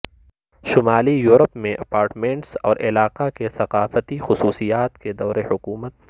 شمالی یورپ میں اپارٹمنٹس اور علاقہ کی ثقافتی خصوصیات کے دور حکومت